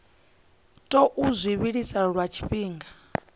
tou zwi vhilisa lwa tshifhinga